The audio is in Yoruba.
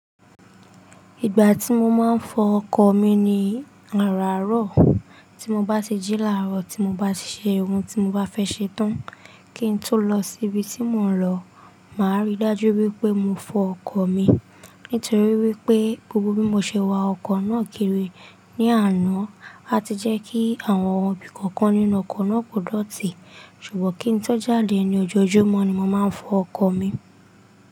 Ìgbà tí mo máa ń fọ ọkọ̀ mi ni àràárọ̀. Tí mo bá ti jí láàárọ̀, tí mo bá ti ṣe ohun tí mo bá fẹ́ ṣe tán, kí n tó lọ síbi tí mò ń lọ, màá rí dájú wípé mo fọ ọkọ̀ mi. Nítorí wípé, gbogbo bí mo ṣe wa ọkọ̀ náà kiri ní àná, á ti jẹ́ kí àwọn ohun bí kọ̀ọ̀kan nínú ọkọ̀ náà kò dọ̀tí. Ṣùgbọ́n kí n tó jáde ní ojoojúmọ́ ni mo máa ń fọ ọkọ̀ mi.